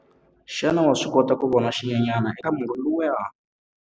Xana wa swi kota ku vona xinyenyana eka murhi lowuya?